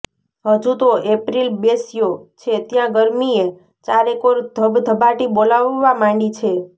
હજુ તો એપ્રિલ બેસ્યો છે ત્યાં ગરમીએ ચારેકોર ધબધબાટી બોલાવવા માંડી છે